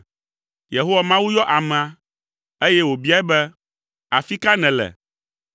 Yehowa Mawu yɔ amea, eye wòbiae bena, “Afi ka nèle?”